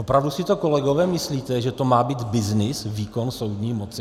Opravdu si to kolegové myslíte, že to má být byznys, výkon soudní moci?